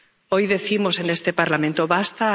Hoy decimos en este Parlamento ¡basta!